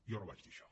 jo no vaig dir això